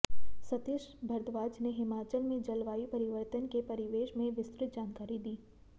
सतीश भारद्वाज ने हिमाचल में जलवायु परिवर्तन के परिवेश में विस्तृत जानकारी दी